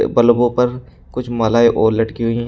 बल्बों पर कुछ मालाएं और लटकी हुई हैं।